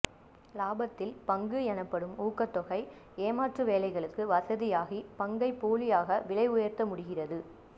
இலாபத்தில் பங்கு எனப்படும் ஊக்கத் தொகை ஏமாற்று வேலைகளுக்கு வசதியாகி பங்கை போலியாக விலை உயர்த்த முடிகிறது